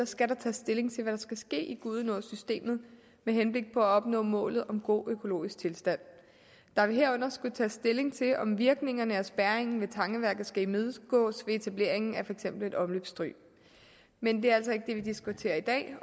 skal der tages stilling til hvad der skal ske i gudenåsystemet med henblik på at opnå målet om god økologisk tilstand der vil herunder skulle tages stilling til om virkningerne af spærringen ved tangeværket skal imødegås ved etableringen af for eksempel et omløbsstryg men det er altså ikke det vi diskuterer i dag